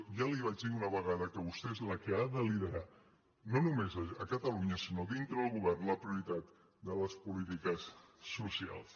ja li ho vaig dir una vegada que vostè és la que ha de li·derar no només a catalunya sinó dintre del govern la prioritat de les polítiques socials